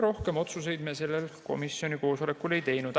Rohkem otsuseid me sellel komisjoni koosolekul ei teinud.